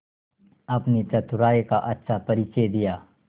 अपनी चतुराई का अच्छा परिचय दिया